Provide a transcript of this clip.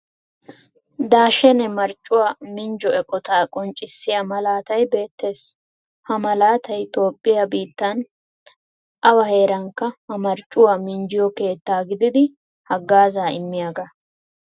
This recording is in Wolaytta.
Daashene marccuwaa minjjo eqqotta qonccisyaa malaatay beettees. Ha malaatay toophphiyan biittan awa heerankka ha marccuwaa minjjiyo keettaa gididi haggaaza immiyaaga.